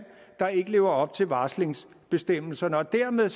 der ikke lever op til varslingsbestemmelsen og dermed